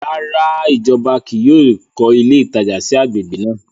Ràrá, ìjọba kìí yóò kọ ilé ìtajà sí agbègbè náà